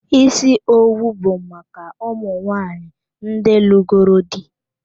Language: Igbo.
Ísì owu bụ maka ụmụ nwaanyị ndị lugoro dị.